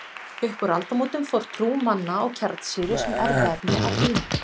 Upp úr aldamótunum fór trú manna á kjarnsýru sem erfðaefni að dvína.